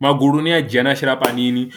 Magulu ni a dzhia a shela panini